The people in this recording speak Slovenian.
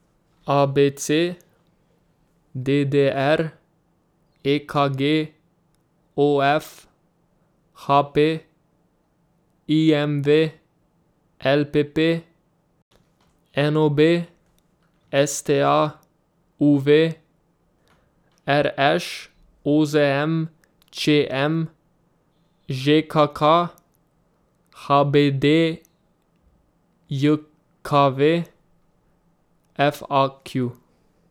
A B C; D D R; E K G; O F; H P; I M V; L P P; N O B; S T A; U V; R Š; O Z M; Č M; Ž K K; H B D J K V; F A Q.